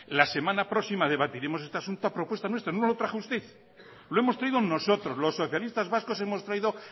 la semana próxima debatiremos este asunto a propuesta nuestra no lo trajo usted lo hemos traído nosotros los socialistas vascos hemos traído